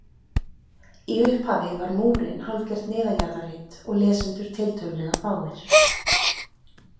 Í upphafi var Múrinn hálfgert neðanjarðarrit og lesendur tiltölulega fáir.